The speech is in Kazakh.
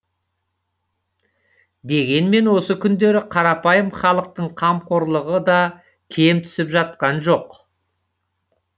дегенмен осы күндері қарапайым халықтың қамқорлығы да кем түсіп жатқан жоқ